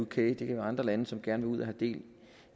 kan være andre lande som gerne vil ud og have del